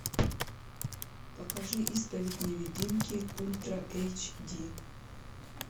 покажи исповедь невидимки ультра эйч ди